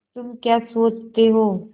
तुम क्या सोचते हो